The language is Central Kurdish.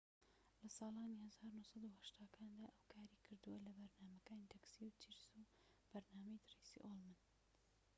لە ساڵانی ١٩٨٠کاندا ئەو کاری کردووە لە بەرنامەکانی تەکسی و چیرس و بەرنامەی ترەیسی ئوڵمن